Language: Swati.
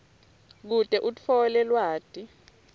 kute utfole lwati